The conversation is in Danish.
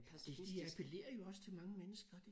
De de appelerer jo også til mange mennesker